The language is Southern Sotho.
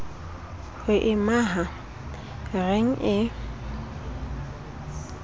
ho e maha reng e